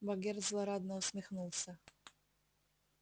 богерт злорадно усмехнулся